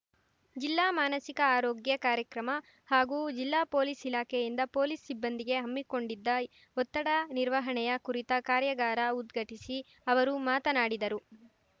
ಜಿಲ್ಲಾ ಮಾನಸಿಕ ಆರೋಗ್ಯ ಕಾರ್ಯಕ್ರಮ ಹಾಗು ಜಿಲ್ಲಾ ಪೊಲೀಸ್‌ ಇಲಾಖೆಯಿಂದ ಪೊಲೀಸ್‌ ಸಿಬ್ಬಂದಿಗೆ ಹಮ್ಮಿಕೊಂಡಿದ್ದ ಒತ್ತಡ ನಿರ್ವಹಣೆಯ ಕುರಿತ ಕಾರ್ಯಾಗಾರ ಉದ್ಘಾಟಿಸಿ ಅವರು ಮಾತನಾಡಿದರು